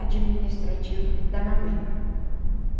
administrativo da mamãe.